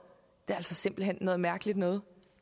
simpelt hen noget mærkeligt noget